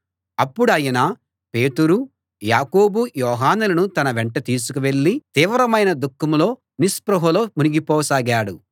అప్పుడాయన పేతురు యాకోబు యోహానులను తన వెంట తీసుకు వెళ్ళి తీవ్రమైన దుఃఖంలో నిస్పృహలో మునిగిపోసాగాడు